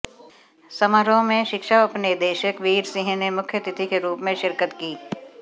समारोह में शिक्षा उपनिदेशक वीर सिंह ने मुख्यातिथि के रूप में शिरकत की